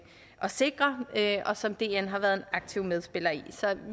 sikre og som dn har været en aktiv medspiller i så